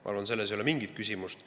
Ma arvan, et selles ei ole mingit küsimust.